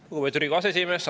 Lugupeetud Riigikogu aseesimees!